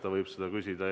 Seda võib küsida.